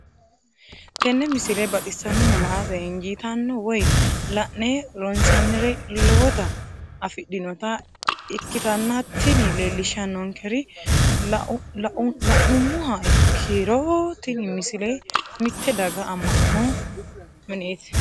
tenne misile baxisannonna la"ate injiitanno woy la'ne ronsannire lowote afidhinota ikkitanna tini leellishshannonkeri la'nummoha ikkiro tini misile mitte daga amma'no mineeti.